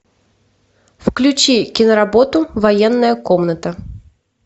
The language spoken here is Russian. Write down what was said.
включи киноработу военная комната